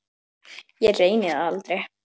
Ég reyni það aldrei.